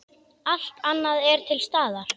Allt annað er til staðar.